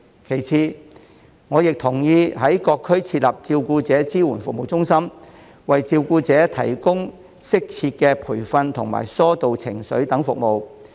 其次，我亦同意在各區設立照顧者支援服務中心，為照顧者提供適切培訓及疏導情緒等服務。